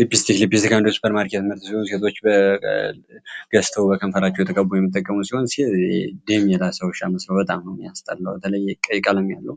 ሊፒስቲክ ሊፒስቲክ አንዱ የሱፐር ማርኬ የትምህርቶ ሲሆን ሴቶች በገስተው በከንፈራቸው የተገቡ የሚጠገሙ ሲሆን ድም የላሰ ውሻ መስረው በጣም ነየሚያስጠላው በተለይ ቀይቃለም ያለ